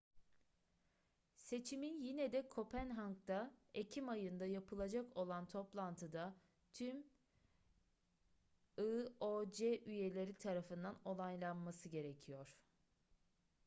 seçimin yine de kopenhag'da ekim ayında yapılacak olan toplantıda tüm ioc üyeleri tarafından onaylanması gerekiyor